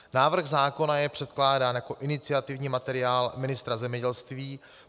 Návrh zákona je předkládán jako iniciativní materiál ministra zemědělství.